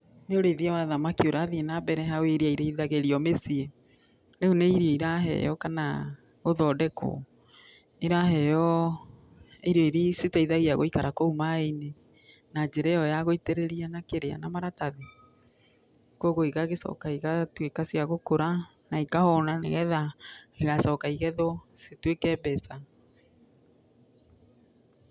Nĩ ũrĩithia wa thamaki ũrathiĩ na mbere hau iria irĩithagĩrio mũciĩ, rĩu nĩ irio iraheyo kana gũthondekwo. Iraheyo irio iria iteithagia gũikara kũu maĩ-inĩ na njĩra ĩyo yagũitĩrĩria na maratathi. Koguo igagĩcoka igatũĩka cia gũkũra na ikahũna, nĩgetha igacoka igethwo ituĩke mbeca.